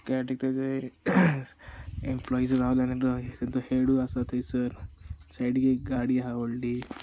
ते सायडीक तेजो एक एंप्लोइज रावल्या तेंका तेंचो हेडुय आसा थयसर सायडीक एक गाडी आहा व्हडलि.